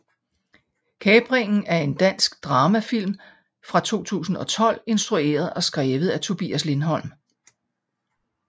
Kapringen er en dansk dramafilm fra 2012 instrueret og skrevet af Tobias Lindholm